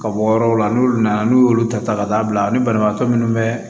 Ka bɔ yɔrɔw la n'u nana n'u y'olu ta ka taa bila ani banabaatɔ minnu bɛ